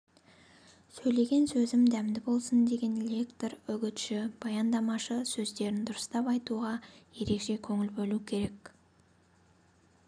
сөйлеген сөзім дәмді болсын деген лектор үгітші баяндамашы сөздерін дұрыстап айтуға ерекше көңіл бөлу керек